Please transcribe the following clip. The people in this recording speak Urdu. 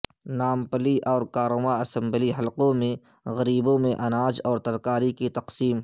نامپلی اور کاروان اسمبلی حلقوں میں غریبوں میں اناج اور ترکاری کی تقسیم